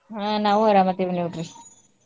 ಹಾ ನಾವು ಅರಾಮ್ ಅದಿವ್ ನೋಡ್ರಿ.